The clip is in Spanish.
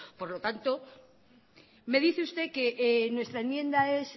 me dice usted que nuestra enmienda es